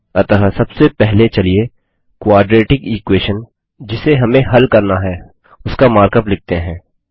अतः सबसे पहले चलिए क्वाड्रेटिक इक्वेशन जिसे हमें हल करना है उसका मार्कअप लिखते हैं